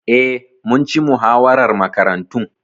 Eh, mun ci muhawarar Makarantun.